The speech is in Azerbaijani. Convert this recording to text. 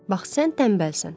Bax sən tənbəlsən.